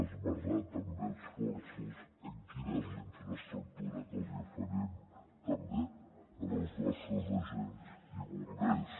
esmercem també esforços en quina és la infraestructura que els oferim també als nostres agents i bombers